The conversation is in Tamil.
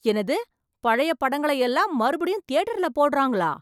என்னது பழைய படங்களை எல்லாம் மறுபடியும் தியேட்டர்ல போடறாங்களா?